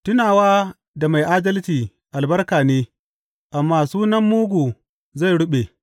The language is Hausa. Tunawa da mai adalci albarka ne amma sunan mugu zai ruɓe.